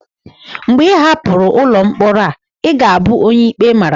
mgbe ị hapụrụ ụlọ mkpọrọ a, ị ga-abụ onye ikpe mara